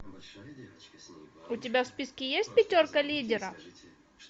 у тебя в списке есть пятерка лидеров